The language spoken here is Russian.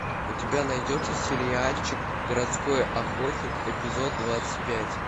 у тебя найдется сериальчик городской охотник эпизод двадцать пять